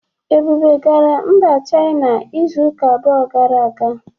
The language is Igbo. Ebube gara Mba China izu ụka abụọ gara aga